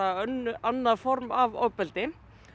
annað form af ofbeldi